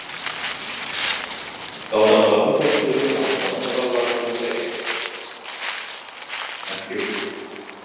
залдағалардың көпшілігі москваның татарлары болса керек мәскеу